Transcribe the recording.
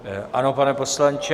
Ano, pane poslanče.